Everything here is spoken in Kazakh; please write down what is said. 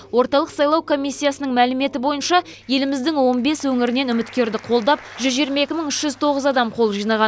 орталық сайлау комиссиясының мәліметі бойынша еліміздің он бес өңірінен үміткерді қолдап жүз жиырма екі мың үш жүз тоғыз адам қол жинаған